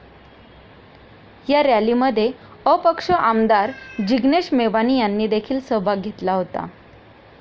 या रॅलीमध्ये अपक्ष आमदार जिग्नेश मेवाणी यांनी देखील सहभाग घेतला होता.